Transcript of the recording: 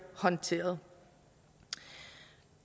håndteret